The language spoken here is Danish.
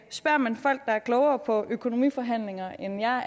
spørger man folk der er klogere på økonomiforhandlinger end jeg